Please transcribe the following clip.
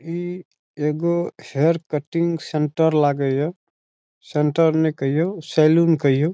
ई एगो hair cutting centre लागे या सेन्टर ने कहयो सैलून कहयो ।